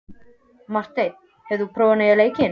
Marteinn, hefur þú prófað nýja leikinn?